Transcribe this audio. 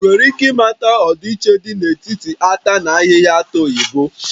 Ị nwere ike ịmata ọdịiche dị n'etiti ata na ahịhịa na-ata oyibo?